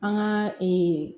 An ka